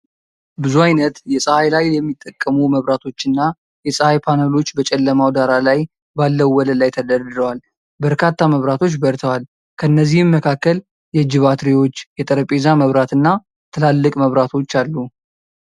ብዙ አይነት የፀሐይ ኃይል የሚጠቀሙ መብራቶችና የፀሐይ ፓነሎች በጨለማ ዳራ ላይ ባለው ወለል ላይ ተደርድረዋል። በርካታ መብራቶች በርተዋል፣ ከእነዚህም መካከል የእጅ ባትሪዎች፣ የጠረጴዛ መብራት፣ ና ትላልቅ መብራቶች አሉ።